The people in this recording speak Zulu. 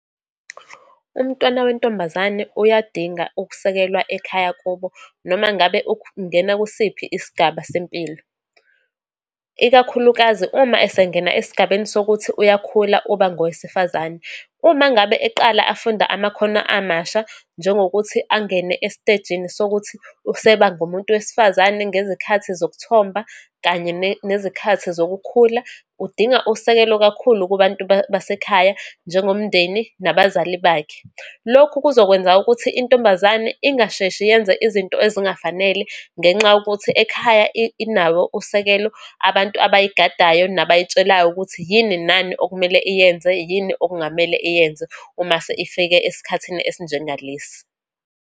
Umntwana wentombazane uyadinga ukusekelwa ekhaya kubo noma ngabe ungena kusiphi isigaba sempilo, ikakhulukazi uma esengena esigabeni sokuthi uyakhula, uba ngowesifazane. Uma ngabe eqala afunda amakhono amasha, njengokuthi angene esitejini sokuthi useba ngomuntu wesifazane ngezikhathi zokuthomba, kanye nezikhathi zokukhula, udinga usekelo kakhulu kubantu basekhaya, njengomndeni nabazali bakhe. Lokhu kuzokwenza ukuthi intombazane ingasheshe yenze izinto ezingafanele, ngenxa yokuthi ekhaya inawo usekelo, abantu abayigadayo, nabayitshelayo ukuthi yini nani okumele iyenze, yini okungamele iyenze uma isifike esikhathini esinjengalesi.